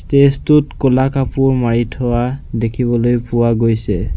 Stage টোত ক'লা কাপোৰ মাৰি থোৱা দেখিবলৈ পোৱা গৈছে।